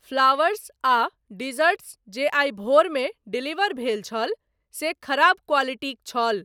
Flowers आ desserts जे आइ भोरमे डिलीवर भेल छल से खराब क्वालिटीक छल।